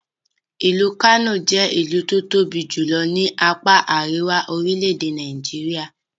Ìlú Kano jẹ́ ìlú tó tóbi jùlọ ní apá Àríwá orilẹ̀-èdè Nigeria.